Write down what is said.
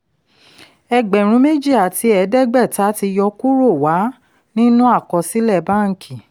ẹgbẹ̀rún méjì àti ẹ̀ẹ́dẹ́gbẹ̀ta tí yọ kúrò wà nínú àkọsílẹ̀ bánkì.